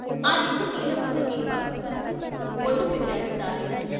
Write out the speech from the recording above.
ఆ నిండు నీళ్ళకుండకి పసుపురాసి, బొట్టు పెట్టాడు దానయ్య.